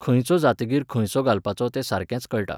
खंयचो जातकीर खंयचो घलपाचो तें सारकेंच कळटा.